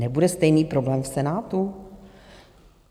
Nebude stejný problém v Senátu?